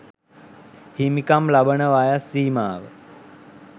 හිමිකම් ලබන වයස් සීමාව